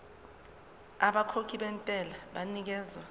abakhokhi bentela banikezwa